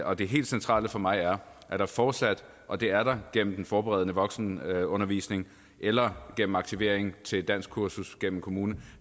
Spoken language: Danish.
og det helt centrale for mig er at der fortsat og det er der gennem den forberedende voksenundervisning eller gennem aktivering til danskkursus gennem kommunen